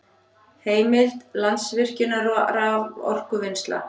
Heimild: Landsvirkjun- raforkuvinnsla